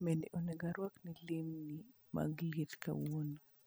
Bende onego arwak lewni mag liet kawuono